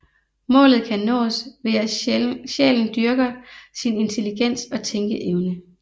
Målet kan nås ved at sjælen dyrker sin intelligens og tænkeevne